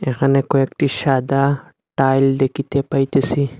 এখানে কয়েকটি সাদা টাইল দেখিতে পাইতেছি।